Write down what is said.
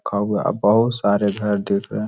बहुत सारे घर दिख रहे हैं।